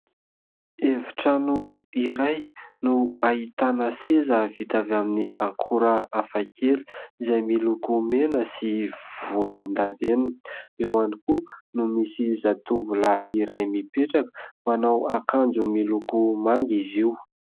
Efitrano iray no ahitana seza vita avy amin'ny akora hafa kely izay miloko mena sy volondavenona. Eo ihany koa no misy zatovolahy iray mipetraka, manao akanjo miloko manga izy io.